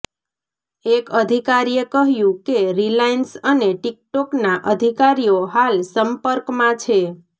એક અધિકારીએ કહ્યું કે રિલાયન્સ અને ટિકટોકના અધિકારીઓ હાલ સંપર્કમાં છે